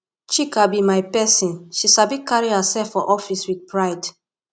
chika be my person she sabi carry herself for office with pride